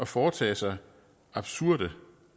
foretage sig absurde